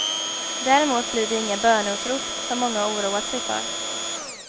Däremot blir det inga böneutrop som många oroat sig för.